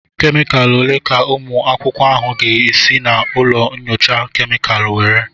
Kemikalụ ole ka ụmụ akwụkwọ ahụ ga esi na ụlọ nyocha kemịkalụ nwere?